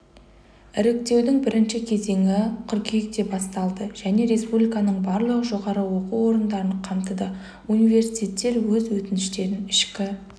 іріктеудің бірінші кезеңі қыркүйекте басталды және республиканың барлық жоғары оқу орындарын қамтыды университеттер өз өтініштерін ішкі